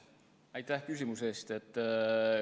Aitäh küsimuse eest!